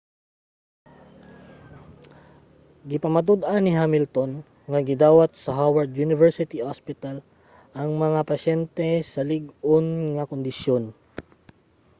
gipamatud-an ni hamilton nga gidawat sa howard university hospital ang mga pasyente sa lig-on nga kondisyon